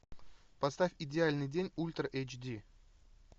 поставь идеальный день ультра эйч ди